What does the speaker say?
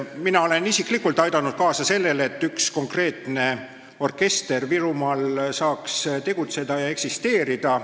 Mina olen isiklikult aidanud kaasa sellele, et üks konkreetne orkester Virumaal saaks tegutseda ja eksisteerida.